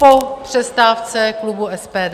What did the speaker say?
Po přestávce klubu SPD.